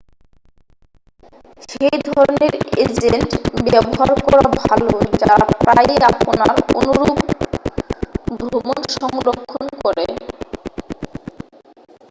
সেই ধরণের এজেন্ট ব্যবহার করা ভালো যারা প্রায়শই আপনার অনুরুপ ভ্রমণ সংরক্ষণ করে